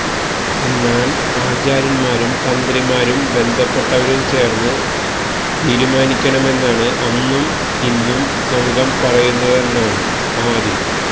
എന്നാല് ആചാര്യന്മാരും തന്ത്രിമാരും ബന്ധപ്പെട്ടവരും ചേര്ന്ന് തീരുമാനിക്കണമെന്നാണ് അന്നും ഇന്നും സംഘം പറയുന്നതെന്നാണ് ആര്